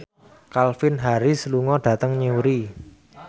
Calvin Harris lunga dhateng Newry